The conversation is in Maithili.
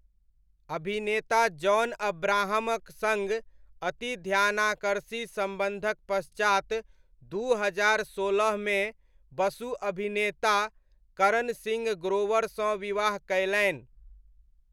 अभिनेता जॉन अब्राहमक सङ्ग अति ध्यानाकर्षी सम्बन्धक पश्चात, दू हजार सोलहमे बसु अभिनेता करण सिंह ग्रोवरसँ विवाह कयलनि।